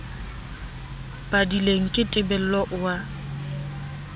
padileng ke tebello o a